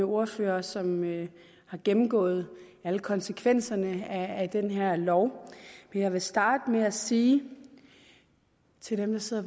ordførere som har gennemgået alle konsekvenserne af den her lov men jeg vil starte med at sige til dem der sidder